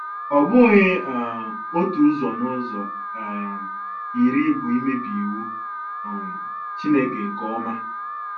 Ọ bụghị um otu ụzọ n'ụzọ um iri bụ imebi iwu um Chineke nke ọma.